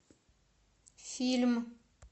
фильм